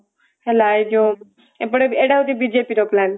ହେଲା ଏଇ ହେଉଛି ବିଜେପି ର plan